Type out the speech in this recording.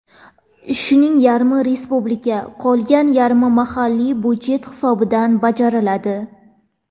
Shuning yarmi respublika, qolgan yarmi mahalliy budjet hisobidan bajariladi.